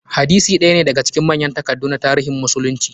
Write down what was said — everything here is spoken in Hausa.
Hadisi ɗaya ne daga cikin manyan takaddu na tarihin musulunci.